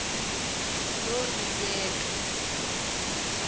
norebeka